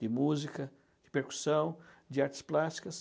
de música, de percussão, de artes plásticas.